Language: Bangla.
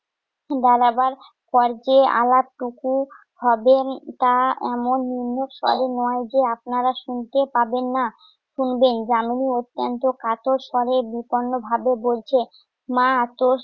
দাঁড়াবার পর্যায়ে আলাপটুকু হবে উম তা এমন ময় যে আপনারা শুনতে পাবেন না। শুনবেন যামিনী অত্যন্ত কাতর স্বরে বিপন্নভাবে বলছে। মা এতো